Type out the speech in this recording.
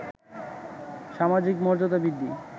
সামাজিক মর্যাদা বৃদ্ধি